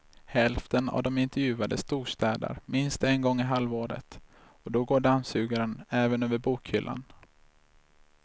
Hälften av de intervjuade storstädar minst en gång i halvåret och då går dammsugaren även över bokhyllan.